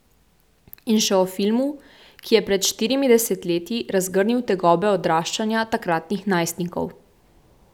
In še o filmu, ki je pred štirimi desetletji razgrnil tegobe odraščanja takratnih najstnikov.